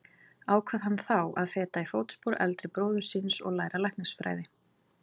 Ákvað hann þá að feta í fótspor eldri bróður síns og læra læknisfræði.